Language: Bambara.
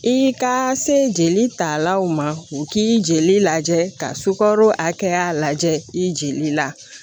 I ka se jeli talaw ma u k'i jeli lajɛ ka sukaro hakɛya lajɛ i jeli la